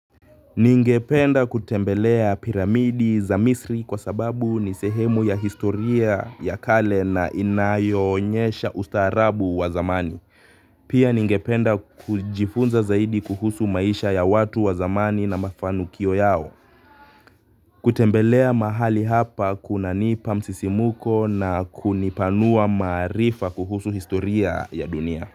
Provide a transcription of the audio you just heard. Ningependa kutembelea piramidi za misri kwa sababu nisehemu ya historia ya kale na inayo onyesha ustaarabu wa zamani. Pia ningependa kujifunza zaidi kuhusu maisha ya watu wa zamani na mafanikio yao. Kutembelea mahali hapa kuna nipa msisimuko na kunipanua maarifa kuhusu historia ya dunia.